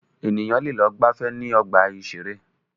Ènìyàn lẹ lọ gbàfẹ́ ní ọgbà ìṣẹ̀rẹ́.